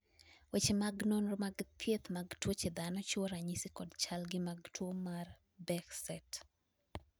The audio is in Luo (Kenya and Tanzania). weche mag nonro mag thieth mag tuoche dhano chiwo ranyisi kod chalgi mag tuo mar Behcet